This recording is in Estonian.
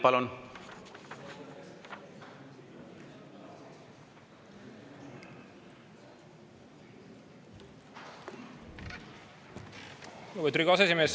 Lugupeetud aseesimees!